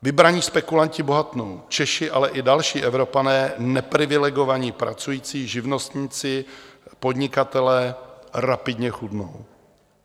Vybraní spekulanti bohatnou, Češi, ale i další Evropané, neprivilegovaní pracující, živnostníci, podnikatelé, rapidně chudnou.